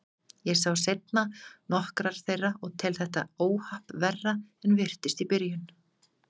Ég sá seinna nokkrar þeirra og tel þetta óhapp verra en virtist í byrjun.